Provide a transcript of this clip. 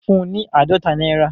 Fún un ní àádọ́ta náírà